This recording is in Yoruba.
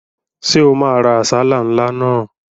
Ṣé o máa ra àsálà ńlá náà?